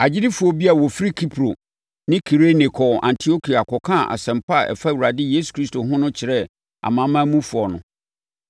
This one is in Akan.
Agyidifoɔ bi a wɔfiri Kipro ne Kirene kɔɔ Antiokia kɔkaa asɛmpa a ɛfa Awurade Yesu Kristo ho no kyerɛɛ amanamanmufoɔ no.